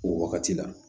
O wagati la